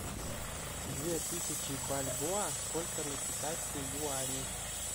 две тысячи бальбоа сколько на китайские юани